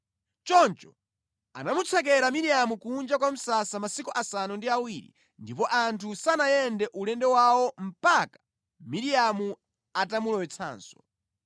Choncho anamutsekera Miriamu kunja kwa msasa masiku asanu ndi awiri ndipo anthu sanayende ulendo wawo mpaka Miriamu atamulowetsanso.